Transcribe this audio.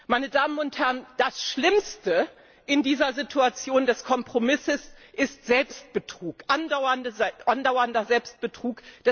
Meine Damen und Herren, das Schlimmste in dieser Situation des Kompromisses ist Selbstbetrug, andauernder Selbstbetrug.